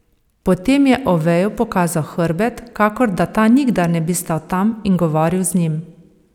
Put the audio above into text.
Potem je Oveju pokazal hrbet, kakor da ta nikdar ne bi stal tam in govoril z njim.